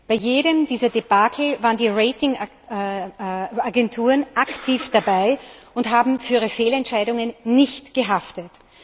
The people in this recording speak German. Bei jedem dieser Debakel waren die Ratingagenturen aktiv dabei und haben für ihre Fehlentscheidungen nicht gehaftet.